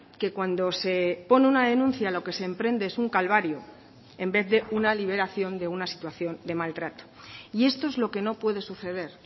que cuando se pone una denuncia lo que se emprende es un calvario en vez de una liberación de una situación de maltrato y esto es lo que no puede suceder